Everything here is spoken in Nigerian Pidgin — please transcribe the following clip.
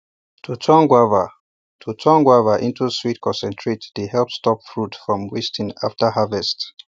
to turn guava to turn guava into sweet concentrate dey help stop fruit from wasting after harvest